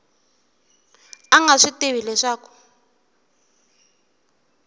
a nga swi tivi leswaku